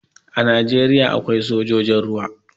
A Najeriya akwai sojojin ruwa.